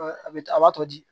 A bɛ a b'a to de